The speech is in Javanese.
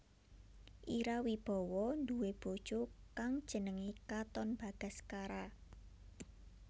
Ira Wibowo nduwe bojo kang jenengé Katon Bagaskara